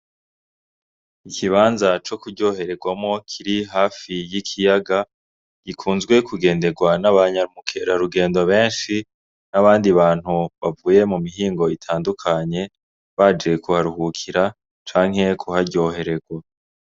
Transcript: Ikibanza co kuryohererwamwo kiri hafi y’ikiyaga kigunzwe kugenderwa n’abanyamukerarugendo benshi n’abandi bantu bavuye mu mihingo itandukanye baje kuharuhukira canke kuharyohererwa.